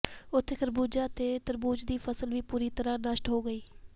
ਉਥੇ ਖਰਬੂਜਾ ਤੇ ਤਰਬੂਜ਼ ਦੀ ਫਸਲ ਵੀ ਪੂਰੀ ਤਰ੍ਹਾਂ ਨਸ਼ਟ ਹੋ ਗਈ